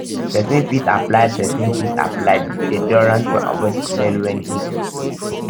um persin fit apply persin fit apply deoderant to avoid smell when heat um de